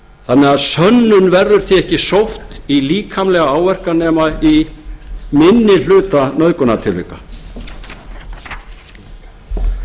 þannig að sönnun verður því ekki sótt í líkamlega áverka nema í einnig hluta nauðgunartilvika samkvæmt alþjóðlegum sjúkdómsgreiningaskrám er